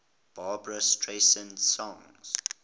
barbra streisand songs